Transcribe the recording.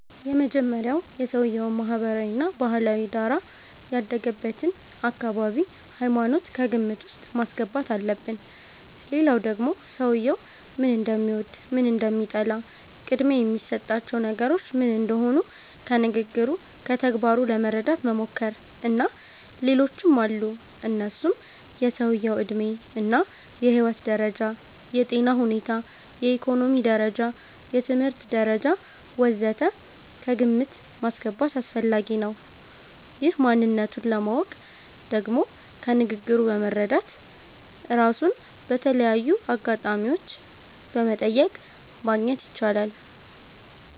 የመጀመሪያዉ የሰዉየዉን ማህበራዊ እና ባህላዊ ዳራ፣ ያደገበትን አካባቢ፣ ሃይማኖት ከግምት ዉስጥ ማስገባት አለብን ሌላዉ ደግሞ ሰዉየዉ ምን እንደሚወድ፣ ምን እንደሚጠላ፣ ቅድሚያ የሚሰጣቸው ነገሮች ምን እንደሆኑ ከንግግሩ፣ ከተግባሩ ለመረዳት መሞከር። እና ሌሎችም አሉ እነሱም የሰዉየዉ ዕድሜ እና የህይወት ደረጃ፣ የጤና ሁኔታ፣ የኢኮኖሚ ደረጃ፣ የትምህርት ደረጃ ወ.ዘ.ተ ከግምት ማስገባት አስፈላጊ ነዉ። ይህን ማንነቱን ለማወቅ ደግሞ ከንግግሩ በመረዳት፣ ራሱን በተለያዩ አጋጣሚዎች በመጠየቅ ማግኘት ይቻላል